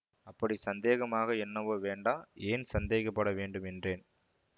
அப்படி சந்தேகமாக என்னவோ வேண்டா ஏன் சந்தேகப்பட வேண்டும் என்றேன்